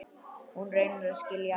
Hún reynir að skilja allt.